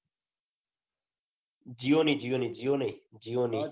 જીઓની જીઓની જીઓ નઈ જીઓની